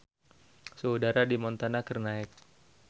Suhu udara di Montana keur naek